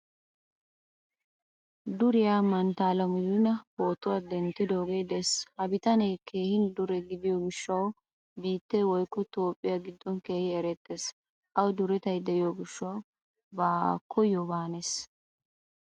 Duriyaa mantta Alamudina pootuwaa denttidoge de'ees. Ha bitane keehin dure gidiyo gishshawu biite woykko toophphiyaa giddon keehin erettees. Awu durettay de'iyo gishshawu ba koyoba hanees.